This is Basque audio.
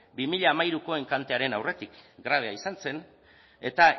bi mila hamairuko enkantearen aurretik grabea izan zen eta